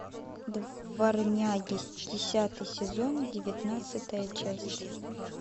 дворняги десятый сезон девятнадцатая часть